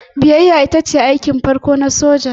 Biyayya ita ce aikin farko na soja.